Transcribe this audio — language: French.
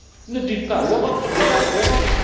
correct. Ne dites pas l'Europe, l'Europe,